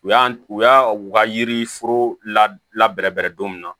U y'an u y'a u ka yiri foro la bɛrɛbɛrɛ don min na